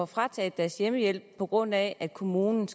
frataget deres hjemmehjælp på grund af at kommunen